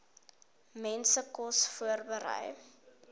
mense kos voorberei